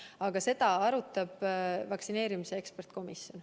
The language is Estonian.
Aga seda arutab vaktsineerimise eksperdikomisjon.